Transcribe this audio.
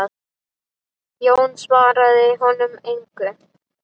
Jón svaraði honum engu.